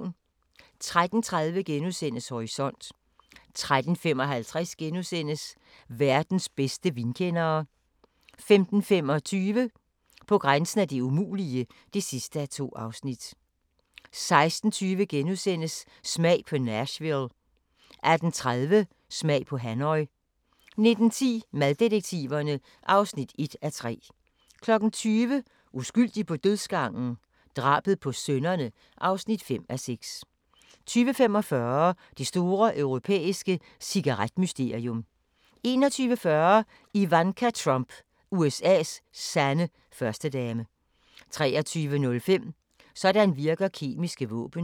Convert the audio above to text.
13:30: Horisont * 13:55: Verdens bedste vinkendere * 15:25: På grænsen af det umulige (2:2) 16:20: Smag på Nashville * 18:30: Smag på Hanoi 19:10: Maddetektiverne (1:3) 20:00: Uskyldig på dødsgangen? Drabet på sønnerne (5:6) 20:45: Det store europæiske cigaret-mysterium 21:40: Ivanka Trump – USA's sande førstedame 23:05: Sådan virker kemiske våben